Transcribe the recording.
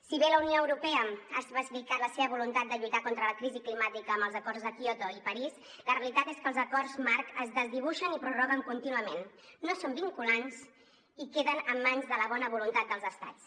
si bé la unió europea va especificar la seva voluntat de lluitar contra la crisi climàtica amb els acords de kyoto i parís la realitat és que els acords marc es desdibuixen i prorroguen contínuament no són vinculants i queden en mans de la bona voluntat dels estats